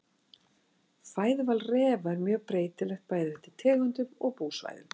Fæðuval refa er mjög breytilegt bæði eftir tegundum og búsvæðum.